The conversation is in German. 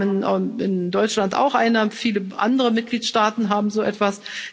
Wir haben in Deutschland auch eine, und viele andere Mitgliedstaaten haben so etwas.